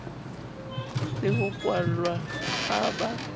le ho kwallwa ha ba